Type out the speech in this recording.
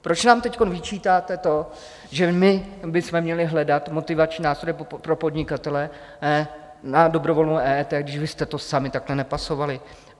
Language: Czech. Proč nám teď vyčítáte to, že my bychom měli hledat motivační nástroj pro podnikatele na dobrovolnou EET, když vy jste to sami takhle nepasovali?